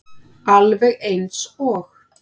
Alveg eins og